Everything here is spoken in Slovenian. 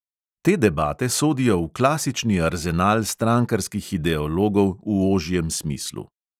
Te debate sodijo v klasični arzenal strankarskih ideologov v ožjem smislu.